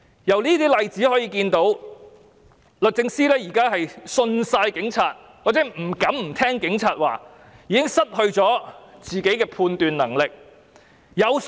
由這些例子可以看到，律政司現時完全信任警察，或不敢不聽警察的話，已經失去自己的判斷能力。